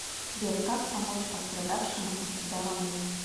сбер как помочь пострадавшему от удара молнии